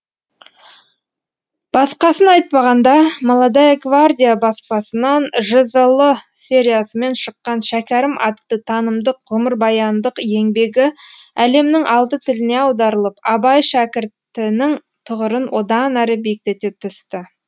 басқасын айтпағанда молодая гвардия баспасынан жзл сериясымен шыққан шәкәрім атты танымдық ғұмырбаяндық еңбегі әлемнің алты тіліне аударылып абай шәкіртінің тұғырын одан әрі биіктете түсті